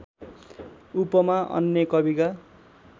उपमा अन्य कविका